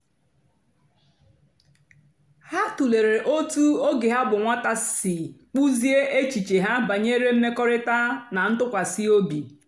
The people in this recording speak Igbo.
ha tụ̀lèrè otú ógè ha bụ́ nwátà sì kpụ́ziè èchìchè ha bànyèrè mmèkọ̀rị̀ta na ntụ́kwàsị́ òbì.